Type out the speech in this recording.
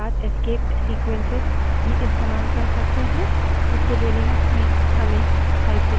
यह outputs है कि वर्तमान shell इस्तेमाल हो रही है